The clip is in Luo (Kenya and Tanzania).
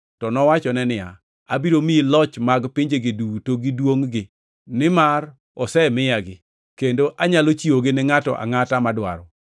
To nowachone niya, “Abiro miyi loch mag pinjegi duto gi duongʼ-gi, nimar osemiyagi, kendo anyalo chiwogi ne ngʼato angʼata, madwaro.